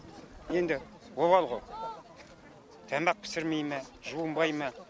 енді обал ғой тамақ пісірмей ме жуынбай ма